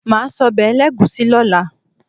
Màá sọ́bẹ̀ ẹlẹ́gùúsí lọ́la.